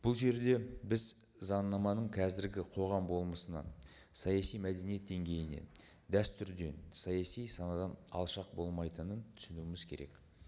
бұл жерде біз заңнаманың қазіргі қоғам болмысынан саяси мәдениет деңгейінен дәстүрден саяси санадан алшақ болмайтынын түсінуіміз керек